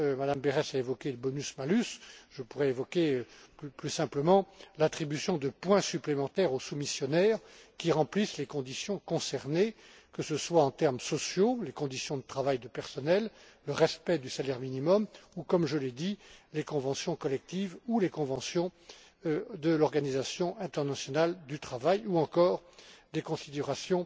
Mme Berès a évoqué le bonus malus, je pourrais évoquer, plus simplement, l'octroi de points supplémentaires aux soumissionnaires qui remplissent les conditions concernées, que ce soit en termes sociaux les conditions de travail du personnel, le respect du salaire minimum, ou comme je l'ai dit, les conventions collectives ou les conventions de l'Organisation internationale du travail ou encore des considérations